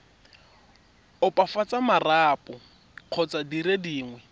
opafatsa marapo kgotsa dire dingwe